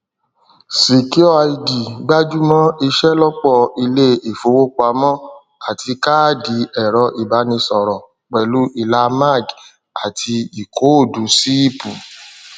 secureid gbájú mọ ìṣelọpọ ilé ìfowópamọ àti káàdì ẹrọìbánisọrọ pẹlú ìlà mag àti ìkóòdù ṣíìpù